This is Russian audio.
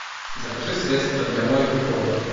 закажи средство для мойки пола